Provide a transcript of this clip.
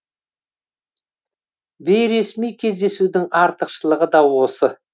бейресми кездесудің артықшылығы да осы